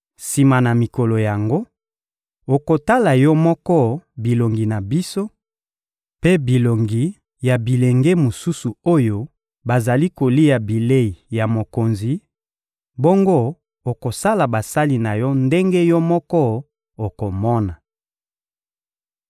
Sima na mikolo yango, okotala yo moko bilongi na biso mpe bilongi ya bilenge mosusu oyo bazali kolia bilei ya mokonzi; bongo okosala basali na yo ndenge yo moko okomona.»